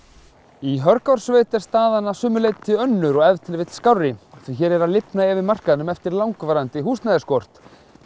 í Hörgársveit er staðan að sumu leyti önnur og ef til vill skárri því hér er að lifna yfir markaðnum eftir langvarandi húsnæðisskort